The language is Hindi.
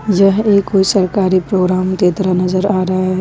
यह एक कोई सरकारी प्रोग्राम के तरह नजर आ रहा है।